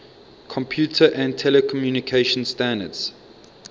computer and telecommunication standards